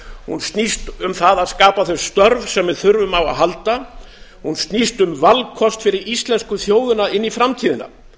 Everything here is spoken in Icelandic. hún snýst um það að skapa þau störf sem við þurfum á að halda hún snýst um valkost fyrir íslensku þjóðina inn í framtíðina